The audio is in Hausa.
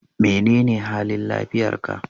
Menene halin lafiyar ka?